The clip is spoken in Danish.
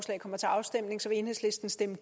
en